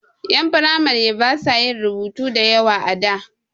Ƴan firamare ba sa yin rubutu da yawa a da.